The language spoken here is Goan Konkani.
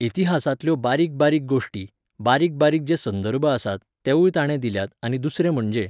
इतिहासांतल्यो बारीक बारीक गोश्टी, बारीक बारीक जे संदर्भ आसात तेवूय ताणें दिल्यात आनी दुसरें म्हणजे